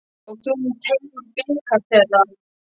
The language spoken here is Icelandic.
Og þú munt teyga úr bikar þeirra.